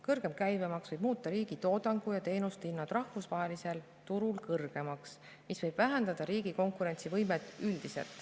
Kõrgem käibemaks võib muuta riigi toodangu ja teenuste hinnad rahvusvahelisel turul kõrgemaks, mis võib vähendada üldiselt riigi konkurentsivõimet.